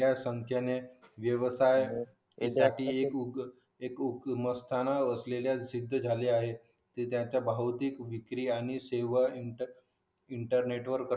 या संख्येने व्यवसाय एकमेकांशीएकरूप असे सिद्ध झाले आहेत त्यांच्या भौतिक विक्री आणि सेवा इंटरनेटवर